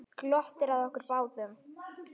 Glottir að okkur báðum.